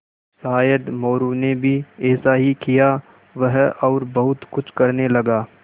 शायद मोरू ने भी ऐसा ही किया वह और बहुत कुछ करने लगा